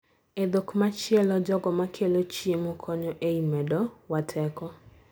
e dhok machielo jogo makelo chiemo konyo ei medo wa teko